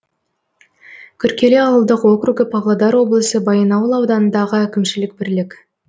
күркелі ауылдық округі павлодар облысы баянауыл ауданындағы әкімшілік бірлік